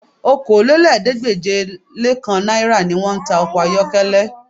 Okòólélẹ́ẹ̀ẹ́dégbèje-le-kan náírà ni wọ́n ń ta ọkọ ayọ́kẹ́lẹ́